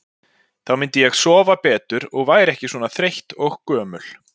Þá myndi ég sofa betur og væri ekki svona þreytt og gömul.